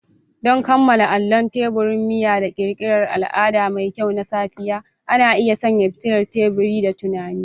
Don kammala kallon teburin miya da ƙirƙirar al'ada mai kyau na safiya, ana iya sanya fitilar tebur da tunani.